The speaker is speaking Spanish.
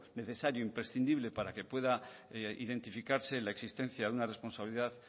necesario e imprescindible para que pueda identificarse la existencia de una responsabilidad